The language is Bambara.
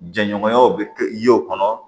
Jɛɲɔgɔnyaw bɛ kɛ ye o kɔnɔ